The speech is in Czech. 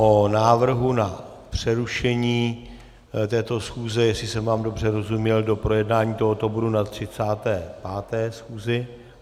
O návrhu na přerušení této schůze, jestli jsem vám dobře rozuměl, do projednání tohoto bodu na 35. schůzi.